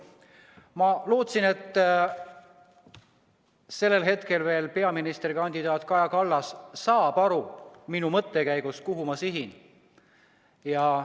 Ma lootsin, et sellel hetkel veel peaministrikandidaat Kaja Kallas saab aru minu mõttekäigust, saab aru, kuhu ma sihin.